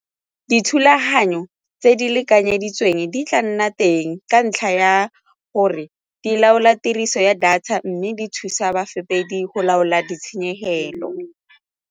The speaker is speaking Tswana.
Dithulaganyo tse di lekanyeditsweng di tla nna teng ka ntlha ya gore di laola tiriso ya data mme di thusa go laola ditshenyegelo.